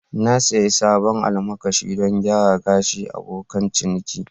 Na sayi sabon almakashi don gyara gashin abokan ciniki